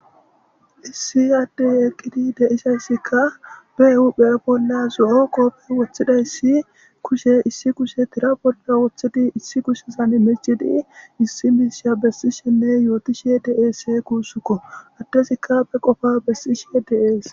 issi yaadde yeeqqidi deisayssikka beehuphee bolla zo7o qooppey woththidayssi kushe issi kushe tira bolda woththidi issi kushesan micidi issi miisha bessishenne yootishe dees kuussukko attesikka be qofa bessishe dees